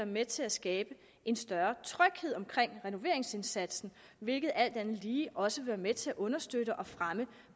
med til at skabe en større tryghed omkring renoveringsindsatsen hvilket alt andet lige også vil være med til at understøtte og fremme